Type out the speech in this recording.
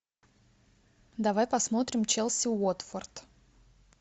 давай посмотрим челси уотфорд